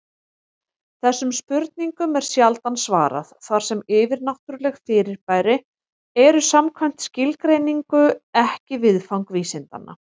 Þessum spurningum er sjaldan svarað, þar sem yfirnáttúruleg fyrirbæri eru samkvæmt skilgreiningu ekki viðfang vísindanna.